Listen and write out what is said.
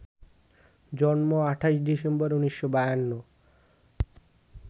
জন্ম ২৮ ডিসেম্বর, ১৯৫২